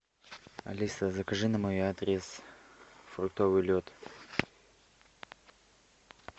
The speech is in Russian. алиса закажи на мой адрес фруктовый лед